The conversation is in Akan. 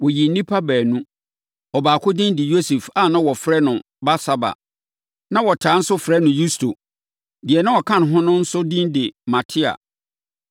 Wɔyii nnipa baanu. Ɔbaako din de Yosef a na wɔfrɛ no Barsaba, na wɔtaa nso frɛ no Yusto. Deɛ na ɔka ho no nso din de Matia.